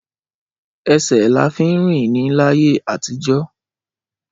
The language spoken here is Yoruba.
Ẹsẹ là fí ń rín ni làyé atijọ.